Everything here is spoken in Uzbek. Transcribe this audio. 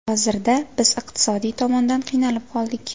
Hozirda biz iqtisodiy tomondan qiynalib qoldik.